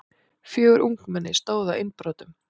Fjögur ungmenni stóðu að innbrotum